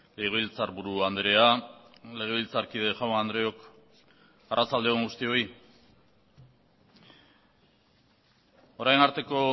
legebiltzarburu andrea legebiltzarkide jaun andreok arratsalde on guztioi orain arteko